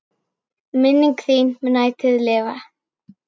Minning þín mun ætíð lifa.